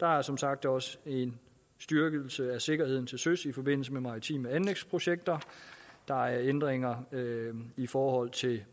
der er som sagt også en styrkelse af sikkerheden til søs i forbindelse med maritime anlægsprojekter der er ændringer i forhold til